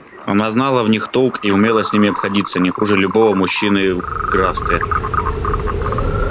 она знала в них толк и умела с ними обходиться не хуже любого мужчины в графстве